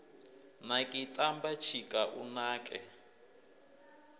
naki tamba tshika u nake